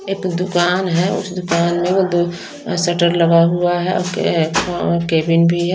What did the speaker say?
एक दुकान है उस दुकान में वो दो शटर लगा हुआ है और क के केबिन भी है।